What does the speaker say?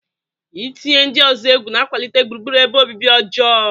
Ị tinye ndị ọzọ egwu na-akwalite gburugburu ebe obibi ọjọọ.